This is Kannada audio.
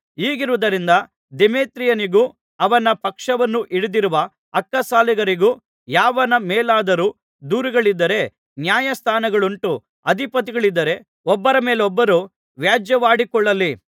ಹೀಗಿರುವುದರಿಂದ ದೇಮೇತ್ರಿಯನಿಗೂ ಅವನ ಪಕ್ಷವನ್ನು ಹಿಡಿದಿರುವ ಅಕ್ಕಸಾಲಿಗರಿಗೂ ಯಾವನ ಮೇಲಾದರೂ ದೂರುಗಳಿದ್ದರೆ ನ್ಯಾಯಸ್ಥಾನಗಳುಂಟು ಅಧಿಪತಿಗಳಿದ್ದಾರೆ ಒಬ್ಬರ ಮೇಲೊಬ್ಬರು ವ್ಯಾಜ್ಯವಾಡಿಕೊಳ್ಳಲಿ